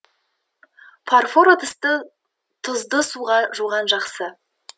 фарфор ыдысты тұзды суда жуған жақсы